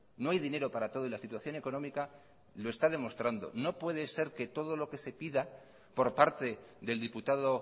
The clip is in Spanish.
no hay dinero para todo y la situación económica lo está demostrando no puede ser que todo lo que se pida por parte del diputado